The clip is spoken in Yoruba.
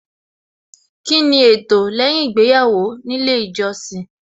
Kíni ẹtọ lẹ́yìn ìgbéyàwó nílé ìjọsìn